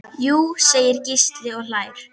Jú segir Gísli og hlær.